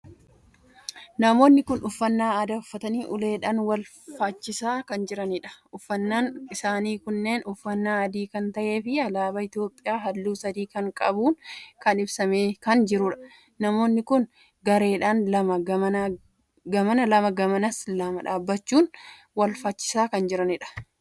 Namoonni kun uffannaa aadaa uffatanii uleedhaan wal fachisaa kan jiraniidha. uffannaan isaanii kunis uffannaa adii kan tahee fi alaabaa Itoophiyaa halluu sadii kan qabuun kan ibsamee kan jiruudha. namoonni kun gareedhaan lama gamana lama amma gamas dhaabbachuun wal fachisaa kan jiraniidha.